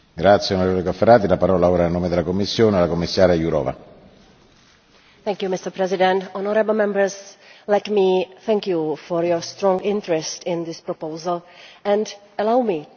Mr President, honourable Members, let me thank you for your strong interest in this proposal, and allow me to recall briefly what our intention was when we tabled this proposal.